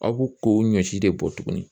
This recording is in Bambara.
Aw bo k'o ɲɔ si de bɔ tuguni.